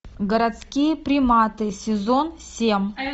городские приматы сезон семь